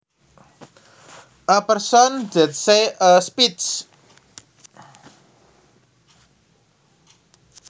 A person that says a speech